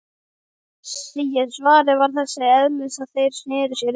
Svarið var þess eðlis að þeir sneru sér undan.